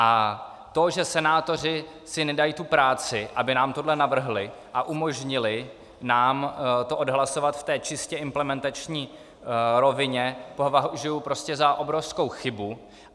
A to, že senátoři si nedají tu práci, aby nám toto navrhli a umožnili nám to odhlasovat v té čistě implementační rovině, považuju prostě za obrovskou chybu.